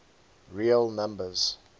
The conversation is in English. real numbers